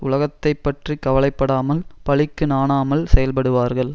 உலகத்தை பற்றி கவலை படாமல் பழிக்கு நாணாமல் செயல்படுவார்கள்